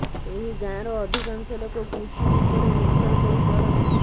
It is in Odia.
ଏହି ଗାଁର ଅଧିକାଂଶ ଲୋକ କୃଷି ଉପରେ ନିର୍ଭର କରି ଚଳନ୍ତି